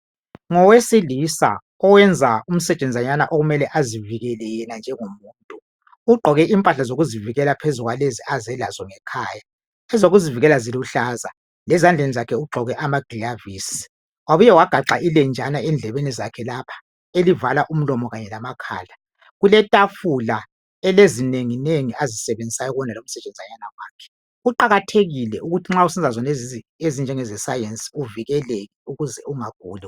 Ngowesilisa oyenza umsetshenzanyana okumele azivikele yena njengomuntu. Ugqoke impahla zokuzivikela phezu kwalezi aze lazo ngekhaya. Ezokuzivikela ziluhlaza ,lezandleni ugqoke amagilovisi, wabuya wagaxa ilenjana endlebeni zakhelapha, elivala umlomo kanye lamakhala. Kuletafula elezinenginengi azisebenzisayo kuwonalo umsetshenzanyana wakhe. Kuqakathekile ukuthi nxa usenza zonezi zinto ezinjengeze sayensi uvikeleke ukuze ungaguli.